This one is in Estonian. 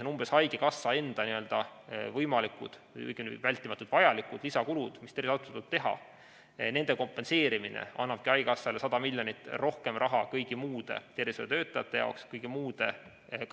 Ehk vältimatult vajalikud lisakulud, mis tervishoiuasutustel tuleb teha, nende kompenseerimine annabki haigekassale 100 miljonit rohkem raha kõigi muude tervishoiutöötajate jaoks, ka kõigi muude